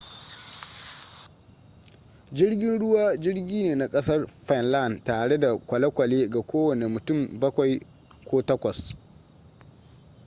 jirgin ruwa jirgi ne na kasar finland tare da kwale-kwale ga kowane mutum bakwai ko takwas